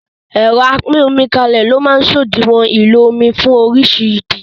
ẹ̀rọ apín-omi-kálé ni ó máa ń sòdiwọ̀n ìlò omí fún orísirísi ìdí